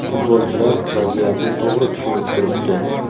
Futbolchilar vaziyatni to‘g‘ri tushunib turibdi.